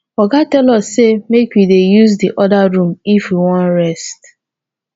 oga tell us say make we dey use the other room if we wan rest